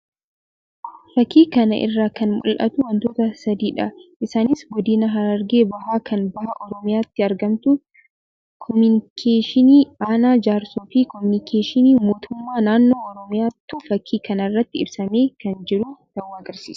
Fakkii kana irraa kan mul'atu wantoota sadii dha. Isaannis Godina Harargee Bahaa kan Bahaa Oromiyaatti argamtuu, kominikeeshinii aanaa Jaarsoo fi kominikeeshinii mootummaa naannoo Oromiyaatu fakkii kanarratti ibsamee kan jiru ta'uu agarsiisa.